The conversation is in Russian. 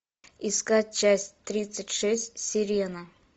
искать часть тридцать шесть сирена